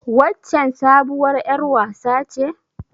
Waccen sabuwar ƴar wasa ce.